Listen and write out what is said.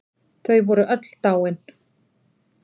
Þau voru öll dáin.